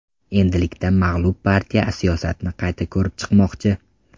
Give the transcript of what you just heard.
Endilikda mag‘lub partiya siyosatini qayta ko‘rib chiqmoqchi.